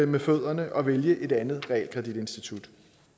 med fødderne og vælge et andet realkreditinstitut